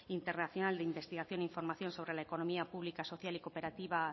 internacional de investigación e información sobre la economía pública social y cooperativa